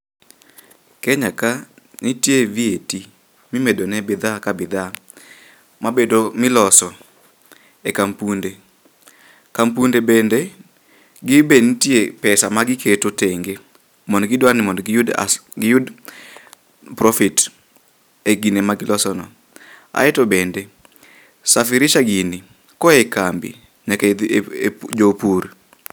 Kenya ka nitie VAT mimedo ne bidhaa ka bidhaa mabedo, miloso e kampunde. Kampunde bende, ginbe nitie pesa ma giketo tenge mondo gidwar ni mondo giyud giyud profit e gine ma giloso no. Aeto bende, safirisha gini koa e kambi jopur.